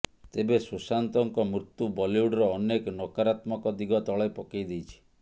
ତେବେ ସୁଶାନ୍ତଙ୍କ ମୃତ୍ୟୁ ବଲିଉଡର ଅନେକ ନକାରାତ୍ମକ ଦିଗ ତଳେ ପକେଇ ଦେଇଛି